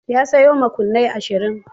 Ya sayo makunnai ashirin.